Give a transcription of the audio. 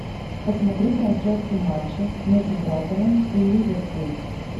посмотреть трансляцию матча между брайтоном и ливерпулем